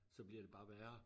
Så bliver det bare værre